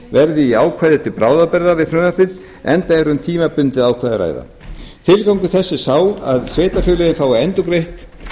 verði í ákvæði til bráðabirgða við frumvarpið enda er um tímabundið ákvæði að ræða tilgangur þess er sá að sveitarfélögin fái endurgreitt